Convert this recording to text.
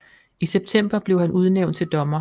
I september blev han udnævnt til dommer